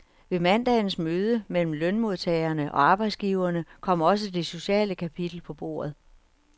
Ved mandagens møde mellem lønmodtagerne og arbejdsgiverne kom også det sociale kapitel på bordet.